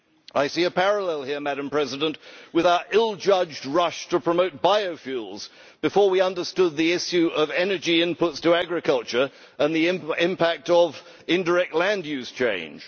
I see a parallel here with our ill judged rush to promote biofuels before we understood the issue of energy inputs to agriculture and the impact of indirect land use change.